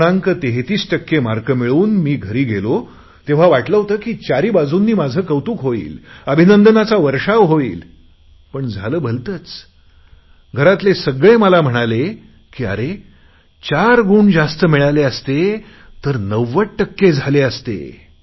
33 टक्के मार्क मिळवून मी घरी गेलो तेव्हा मला वाटले होते की चारही बाजूनी माझे कौतुक होईल अभिनंदाचा वर्षाव होईल पण झाले भलतेच घरातले मला म्हणाले की अरे चार गुण जास्त मिळाले असते तर 90 टक्के झाले असते